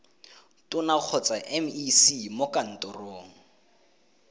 tona kgotsa mec mo kantorong